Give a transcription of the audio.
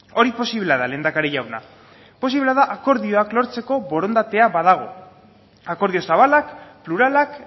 hori posiblea da lehendakari jauna posiblea da akordioak lortzeko borondatea badago akordio zabalak pluralak